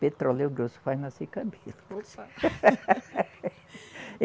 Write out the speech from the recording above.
Petróleo grosso faz nascer cabelo.